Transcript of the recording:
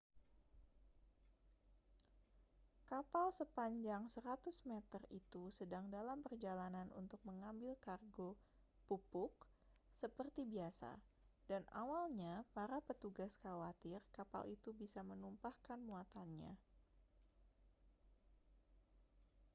kapal sepanjang 100 meter itu sedang dalam perjalanan untuk mengambil kargo pupuk seperti biasa dan awalnya para petugas khawatir kapal itu bisa menumpahkan muatannya